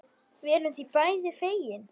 Við erum því bæði fegin.